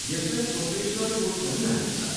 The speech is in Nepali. यसलाई प्रोफेसनल कोर्स पनि मानिन्छ।